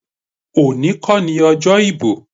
Today isn't election day.